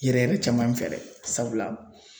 Yɛrɛ yɛrɛ caman fɛ dɛ sabula